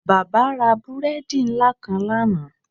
Baba ra búredì nla kan lana.